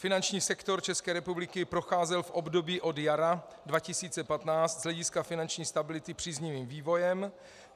Finanční sektor České republiky procházel v období od jara 2015 z hlediska finanční stability příznivým vývojem.